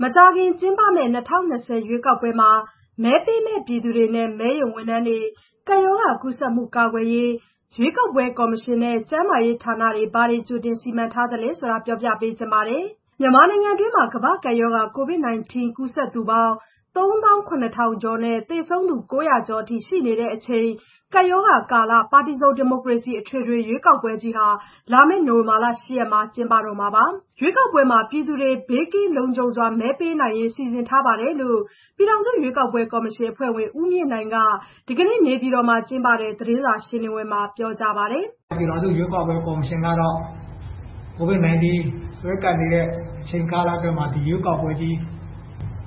မကြာခင် ကျင်းပမယ့် ၂၀၂၀ ရွေးကောက်ပွဲမှာ မဲပေးမယ့်ပြည်သူတွေနဲ့ မဲရုံဝန်ထမ်းတွေ ကပ်ရောဂါကူးစက်မှု ကာကွယ်ရေးအတွက် ရွေးကောက်ပွဲကော်မရှင်နဲ့ ကျန်းမာရေးဌာနတွေ ဘာတွေကြိုတင်စီမံထားသလဲ ဆိုတာကို ဗွီအိုအေမြန်မာပိုင်းသတင်းထောက် မဆုမွန်က ပြောပြပေးပါမယ်။ "မြန်မာနိုင်ငံတွင်း ကမ္ဘာ့ကပ်ရောဂါ ကိုဗစ် ၁၉ ကူးစက်သူပေါင်း ၃၇,၀၀၀ ကျော်နဲ့ သေဆုံးသူ ၉၀၀ ကျော်အထိ ရှိနေတဲ့အချိန် ကပ်ရောဂါကာလ - ပါတီစုံ ဒီမိုကရေစီ အထွေထွေရွေးကောက်ပွဲကြီး လာမယ့် နိုဝင်ဘာလ ၈ ရက်နေ့မှာ ကျင်းပမှာပါ။ ရွေးကောက်ပွဲမှာပြည်သူတွေ ဘေးကင်းလုံခြုံစွာ မဲပေးနိုင်ရေး စီစဉ်ထားပါတယ်။" လို့ ပြည်ထောင်စုရွေးကောက်ပွဲကော်မရှင် အဖွဲ့ဝင် ဦးမြင့်နိုင်က ဒီကနေ့ နေပြည်တော်မှာ ကျင်းပတဲ့ သတင်းစာရှင်းလင်းပွဲမှာ ပြောကြားပါတယ်။ "ပြည်ထောင်စုရွေးကောက်ပွဲကော်မရှင်ကတော့ ကိုဗစ်၁၉ စွဲကပ်နေတဲ့အချိန်ကာလအတွင်းမှာ ရွေးကောက်ပွဲကို